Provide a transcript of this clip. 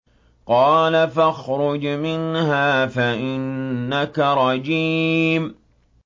قَالَ فَاخْرُجْ مِنْهَا فَإِنَّكَ رَجِيمٌ